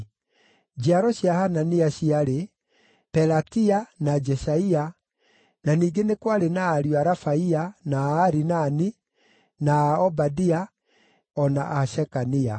Njiaro cia Hanania ciarĩ: Pelatia, na Jeshaia, na ningĩ nĩ kwarĩ na ariũ a Rafaia, na a Arinani, na a Obadia, o na a Shekania.